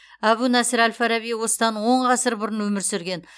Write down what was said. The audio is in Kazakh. әбу насыр әл фараби осыдан он ғасыр бұрын өмір сүрген